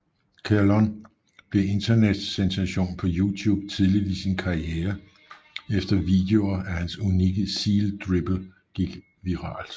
Kerlon blev en internetsensation på YouTube tidligt i sin karriere efter videoer af hans unikke Seal Dribble gik viralt